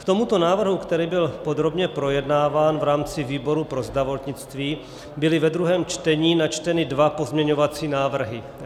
K tomuto návrhu, který byl podrobně projednáván v rámci výboru pro zdravotnictví, byly ve druhém čtení načteny dva pozměňovací návrhy.